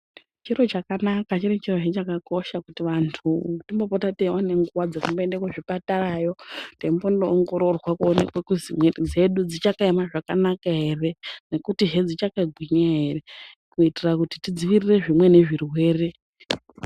Chiro chakanaka chiri chirozve chakakosha kuti vantu timbopota teiwane nguva dzekumboende kuzvipatarayo teimbonoongororwa kuonekwe kuzi miviri dzedu dzichakaema zvakanaka here nekutihe dzichakagwinya here kuitira kuti tidziwirire zvimweni zvirwere.